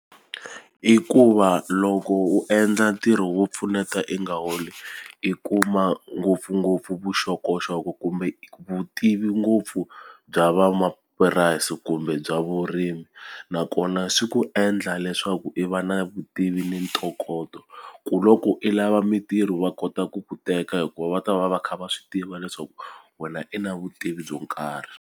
I ku va loko u endla ntirho wo pfuneta i nga holi i kuma ngopfungopfu vuxokoxoko kumbe vutivi ngopfu bya vamapurasi kumbe bya vona vurimi nakona swi ku endla leswaku i va na vutivi ni ntokoto ku loko i lava mintirho va kota ku ku teka hikuva va ta va va kha va swi tiva leswaku wena i na vutivi byo karhi.